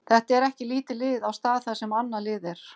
Þetta er ekki lítið lið á stað þar sem annað lið er.